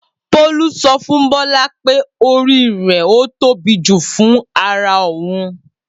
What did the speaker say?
Bolu so fun Bola pe ori re o tobi ju fun ara oun.